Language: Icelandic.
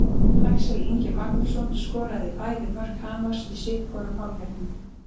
Axel Ingi Magnússon skoraði bæði mörk Hamars í sitthvorum hálfleiknum.